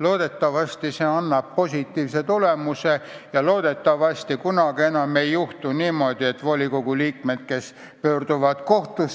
Loodetavasti see annab positiivse tulemuse ja loodetavasti kunagi enam ei juhtu niimoodi, et kohtusse pöördunud volikogu liikmed